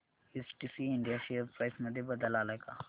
STC India share price मध्ये बदल आलाय का